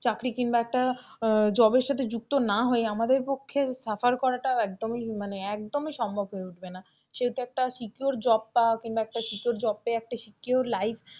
চাকরি কিংবা একটা job সাথে যুক্ত না হয়, আমাদের পক্ষে suffer করাটা একদমই মানে একদমই সম্ভব হয়ে উঠবে না সেহেতু একটা secure job পাওয়া কিংবা একটা secure life পেয়ে একটা secure life,